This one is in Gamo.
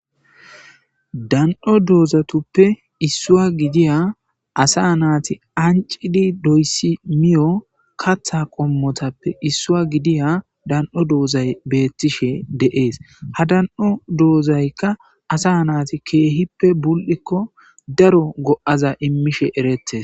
Da'o dozatuppe isuwa gidiya asa nati ancid doysi miyo katha qomotappe isuwa gidiya dand'os dozay betishe de'es, ha dan'o doozayka asa nati keehippe buli'ko daro go'aza imishe eretes